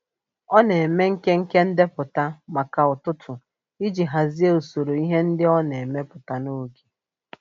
Ọ na-eme nkenke ndepụta maka ụtụtụ iji hazie usoro ihe ndị ọ na-emepụta n'oge.